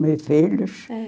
Meus filhos? É.